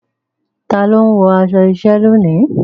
Ta ló ń wọ aṣọ iṣẹ́ lónìí?